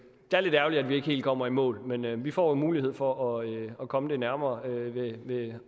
er lidt ærgerligt at vi ikke helt kommer i mål men men vi får en mulighed for at komme det nærmere ved